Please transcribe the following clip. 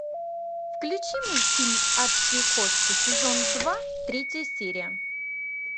включи мультфильм адские кошки сезон два третья серия